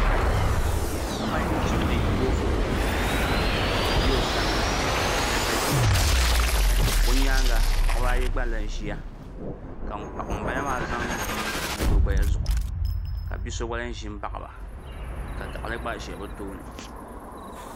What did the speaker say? Paɣa n chimdi boofurooto ka piɛɣu ʒɛ o sani ka tahali gba ʒɛ o sani o nyaanga paɣaba ayi gba lahi ʒiya ka ŋunbala maa zaŋ bia ʒili o naba zuɣu ka bia so gba lahi ʒi n baɣaba ka gaɣali gba ʒɛ bi tooni